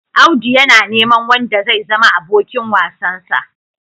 Audu yana neman wanda zai zama abokin wasansa.